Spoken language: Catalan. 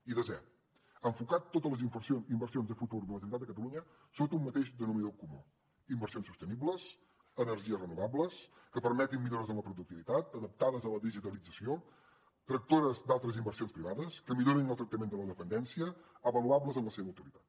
i desè enfocar totes les inversions de futur de la generalitat de catalunya sota un mateix denominador comú inversions sostenibles energies renovables que permetin millores en la productivitat adaptades a la digitalització tractores d’altres inversions privades que millorin el tractament de la dependència avaluables en la seva utilitat